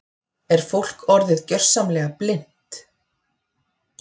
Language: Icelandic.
Er fólk orðið gjörsamlega blint?